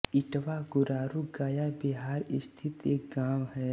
ईटवां गुरारू गया बिहार स्थित एक गाँव है